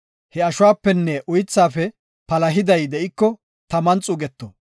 He ashuwapenne uythaafe palahiday de7iko taman xuuggite.